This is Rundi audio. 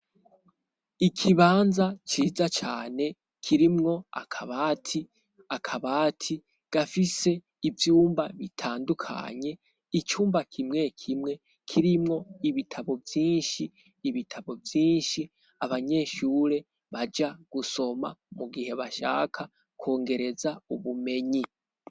Ikibanza ciza cane kirimwo akabati gafise ivyumba bitandukanye. Icumba kimwe kimwe, kirimwo ibitabo vyinshi abanyeshure baja gusoma mu gihe bashaka kwongereza ubumenyi.